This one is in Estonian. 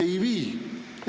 Ei vii!